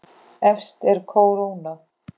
Efst er kóróna.